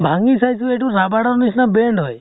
ভাঙি চাইছো, এইটো rubber ৰ নিচিনা bend হয় ।